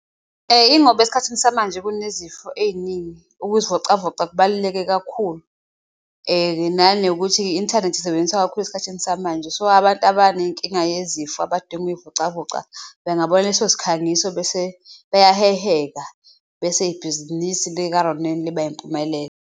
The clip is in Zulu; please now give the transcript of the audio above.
Ingoba esikhathini samanje kunezifo eyiningi ukuzivocavoca kubaluleke kakhulu nanokuthi i-inthanethi isebenzisa kakhulu esikhathini samanje. So, abantu abane nkinga yezifo, abadinga ukuyivocavoca, bengabona leso sikhangiso bese beyaheheka bese ibhizinisi lika-Ronel liba impumelelo.